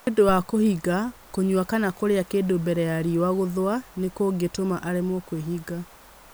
Nĩ ũndũ wa mũndũ kũhinga, kũnyua kana kũrĩa kĩndũ mbere ya riũa gũthũa nĩ kũngĩtũma aremwo nĩ kwĩhinga.